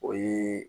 O ye